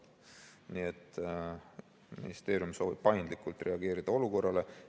" Nii et ministeerium soovib paindlikult reageerida olukorrale.